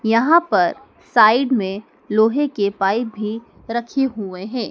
यहां पर साइड में लोहे के पाइप भी रखी हुए हैं।